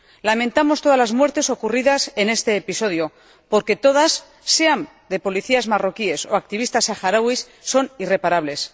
Lamentamos todas las muertes ocurridas en este episodio porque todas sean de policías marroquíes o de activistas saharauis son irreparables.